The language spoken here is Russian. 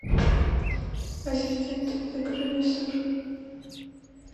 ассистент закажи мне сыр